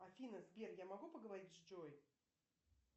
афина сбер я могу поговорить с джой